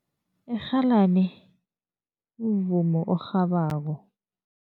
Irhalani mvumo orhabako.